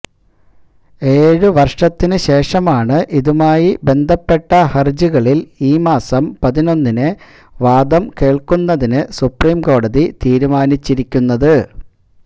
ഏഴ് വര്ഷത്തിന് ശേഷമാണ് ഇതുമായി ബന്ധപ്പെട്ട ഹരജികളില് ഈ മാസം പതിനൊന്നിന് വാദം കേള്ക്കുന്നതിന് സുപ്രീം കോടതി തീരുമാനിച്ചിരിക്കുന്നത്